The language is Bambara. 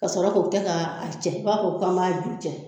Ka sɔrɔ k'o kɛ k'a cɛ i ba fɔ b'a ju cɛ